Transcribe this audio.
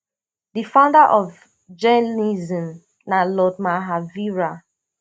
di founder of jainism na lord mahavira